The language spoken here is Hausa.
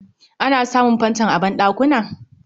Ana samun Fanfon a banɗakuna